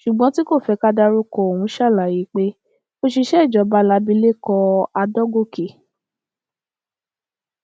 ṣùgbọn tí kò fẹ ká dárúkọ òun ṣàlàyé pé òṣìṣẹ ìjọba làbìlẹkọ adọgọkẹ